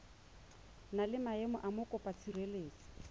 na le maemo a mokopatshireletso